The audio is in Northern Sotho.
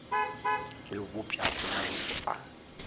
e bopša ke maloko a